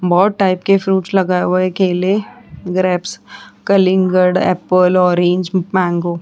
बहोत टाइप के फ्रूट्स लगाए हुए है ग्रेप्स कलिंगड एप्पल ऑरेंज मैंगो --